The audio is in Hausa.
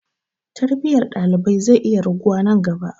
Tarbiyyar ɗalibai zai iya raguwa nan gaba.